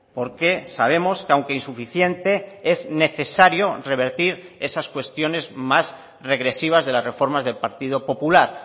porque sabemos que aunque insuficiente es necesario revertir esas cuestiones más regresivas de las reformas del partido popular